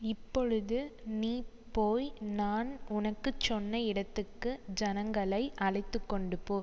இப்பொழுது நீ போய் நான் உனக்கு சொன்ன இடத்துக்கு ஜனங்களை அழைத்து கொண்டு போ